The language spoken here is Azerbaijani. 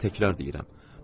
Sizə təkrar deyirəm.